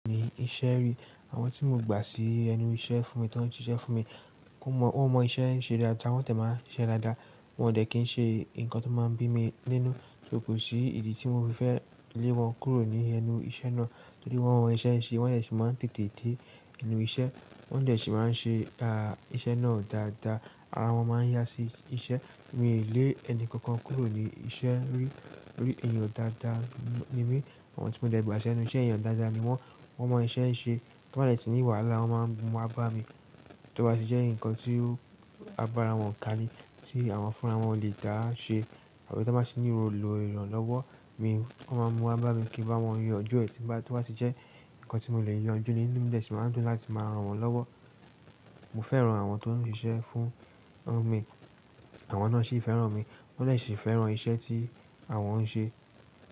Ní iṣẹ́ rí, àwọn tí mo gbà sí ẹnu iṣẹ́ fún mi tó ń ṣiṣẹ́ fún mi. Wọ́n mọ, wọ́n mọ iṣẹ́ ń ṣe dáadáa, wọ́n tẹ̀ máa ṣiṣẹ́ dáadáa. Wọn dè ṣe kí ń ṣe nǹkan tó máa ń bí mi nínú, sò kò sí ìdí tí mo fi fẹ́ lé wọn kúrò ní ẹnu iṣẹ́ náà. Torí wọ́n mọ iṣẹ́ ṣe, wọ́n de sì máa ń tètè dé ẹnu iṣẹ́. Wọ́n de sì máa ń ṣe dá, iṣẹ́ náà dáadáa, ara wọn máa ń yá sí iṣẹ́. Mi lé ẹni kankan kúrò ní iṣẹ́ rí, tó rí èèyàn dáadáa ni mí. Àwọn tí mo de gbà sí ẹnu iṣẹ́, èèyàn dáadáa ni wọ́n. Wọ́n mọ iṣẹ́ ṣe, tí wọ́n bá dè tí ní wàhálà, wọ́n máa ń mú wá bá mi. Tí ó bá sì jẹ́ nǹkan tí agbára wọn kà ní, tí àwọn fúnra wọn lè dáa ṣe àbí tí wọ́n bá sì ní roòlù èèyàn lọ́wọ́ mi, wọ́n máa mú á bá mi kí n bá wọn yanjú ẹ. Tí bá, tí ó bá sì jẹ́ nǹkan tí mo lè yanjú ní, ní mo yóò sì máa ń tún láti máa ran wọn lọ́wọ́. Mo fẹ́ran àwọn tó ń ṣiṣẹ́ fún mi, àwọn náà sì fẹ́ran mi. Wọ́n yóò sì fẹ́ran iṣẹ́ tí àwọn ń ṣe.